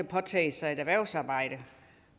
påtage sig et erhvervsarbejde